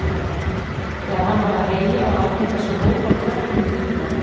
Þegar hann var að heyja var algengt að sjá hóp af krökkum í kringum hann.